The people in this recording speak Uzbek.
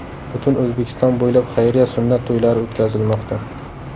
Butun O‘zbekiston bo‘ylab xayriya sunnat to‘ylari o‘tkazilmoqda.